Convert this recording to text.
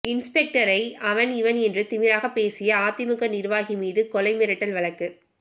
இன்ஸ்பெக்டரை அவன் இவன் என்று திமிராக பேசிய அதிமுக நிர்வாகி மீது கொலை மிரட்டல் வழக்கு